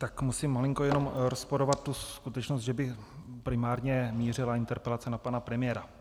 Tak musím malinko jenom rozporovat tu skutečnost, že by primárně mířila interpelace na pana premiéra.